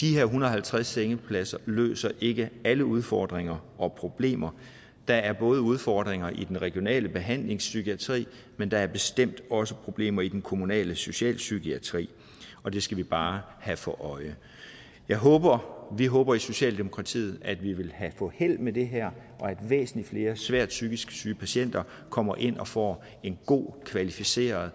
de her og halvtreds sengepladser løser ikke alle udfordringer og problemer der er udfordringer i den regionale behandlingspsykiatri men der er bestemt også problemer i den kommunale socialpsykiatri og det skal vi bare have for øje vi håber vi håber i socialdemokratiet at vi vil få held med det her og at væsentlig flere svært psykisk syge patienter kommer ind og får en god og kvalificeret